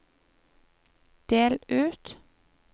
del ut